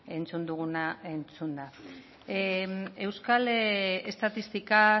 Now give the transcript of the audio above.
entzun duguna entzunda euskal estatistika